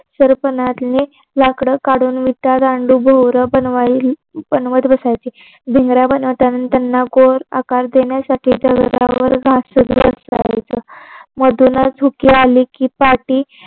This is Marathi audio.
सर्पणातली लाकडं काढून विटा दांडू भोवरा बनवायला बनवत बसायचे. भिंगऱ्या बनवताना त्यांना गोल आकार देणं दगडावर घासत बसायचं मधूनच धुके आले की पाटी